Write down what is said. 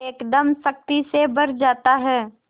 एकदम शक्ति से भर जाता है